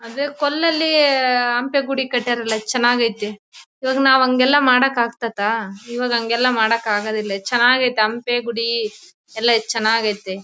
ಅಂದ್ರೆ ಕಲ್ಲಲ್ಲಿ ಹಂಪೆ ಗುಡಿ ಕಟ್ ಯಾರಲ್ಲ ಚೆನ್ನಾಗೈತೆ ಇವಾಗ ನಾವು ಹಂಗೆಲ್ಲಾ ಮಾಡಕ್ ಆಗ್ತದಾ ಇವಾಗ ಹಂಗೆಲ್ಲಾ ಮಾಡಕ್ ಆಗೋದಿಲ್ಲ ಚೆನ್ನಾಗೈತೆ ಹಂಪೆ ಗುಡಿ ಎಲ್ಲ ಚೆನ್ನಾಗೈತೆ .